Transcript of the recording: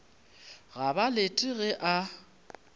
ga ba lete ge a